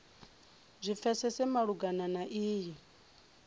zwi pfesese malugana na iyi